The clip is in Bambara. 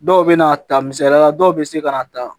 Dɔw bɛ na ta misaliya la dɔw bɛ se ka na ta